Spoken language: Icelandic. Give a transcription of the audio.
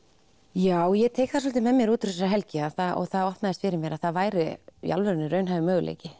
já ég tek það svolítið með mér út úr helgi og það opnaðist fyrir mér að það væri í alvörunni raunhæfur möguleiki